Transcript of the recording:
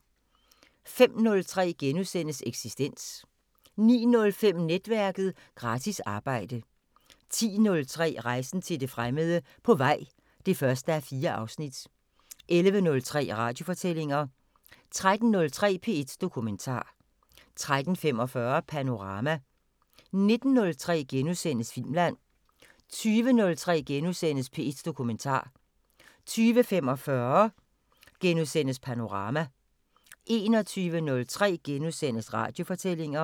05:03: Eksistens * 09:05: Netværket: Gratis arbejde 10:03: Rejsen til det fremmede: På vej (1:4) 11:03: Radiofortællinger 13:03: P1 Dokumentar 13:45: Panorama 19:03: Filmland * 20:03: P1 Dokumentar * 20:45: Panorama * 21:03: Radiofortællinger *